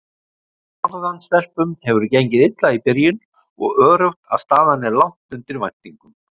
Norðan stelpum hefur gengið illa í byrjun og öruggt að staðan er langt undir væntingum.